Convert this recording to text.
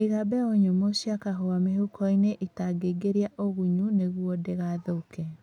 Iga mbegũ nyũmũ cia kahũa mĩhukoinĩ ĩtangĩingĩria ũgunyu nĩguo ndĩgathũke